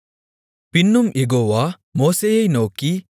பின்னும் யெகோவா மோசேயை நோக்கி